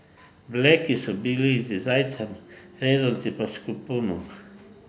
Bleki so bili z zajcem, rezanci pa s kopunom.